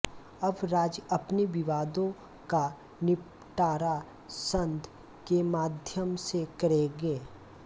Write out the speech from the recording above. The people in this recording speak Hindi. अब राज्य अपने विवादों का निपटारा संघ के माध्यम से करेंगे